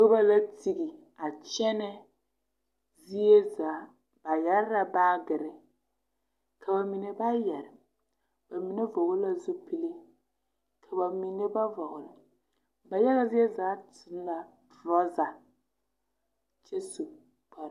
Noba la tiɡi a kyɛnɛ zie zaa ba yɛre la baaɡre ka ba mine ba yɛre ba mine vɔɔl la zupili ka ba mine ba vɔɡeli ba yaɡa zie zaa seɛ la torɔza kyɛ su kpar.